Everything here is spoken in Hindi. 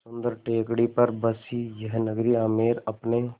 सुन्दर टेकड़ी पर बसी यह नगरी आमेर अपने